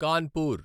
Kanpur